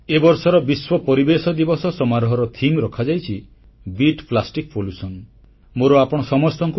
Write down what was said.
ଏ ବର୍ଷର ବିଶ୍ୱ ପରିବେଶ ଦିବସ ସମାରୋହର ଥିମ୍ ବା ପ୍ରସଙ୍ଗ ରଖାଯାଇଛି ବିଟ୍ ପ୍ଲାଷ୍ଟିକ୍ ପଲ୍ୟୁସନ୍ ବା ପ୍ଲାଷ୍ଟିକ ପ୍ରଦୂଷଣକୁ ହରାଅ